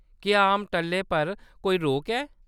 क्या आम टल्लें पर कोई रोक ऐ ?